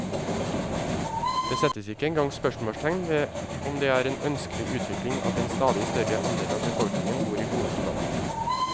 Det settes ikke engang spørsmålstegn ved om det er en ønskelig utvikling at en stadig større andel av befolkningen bor i hovedstaden.